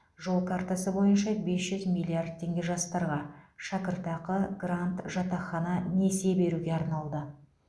жол картасы бойынша бес жүз миллиард теңге жастарға шәкіртақы грант жатақхана несие беруге арналды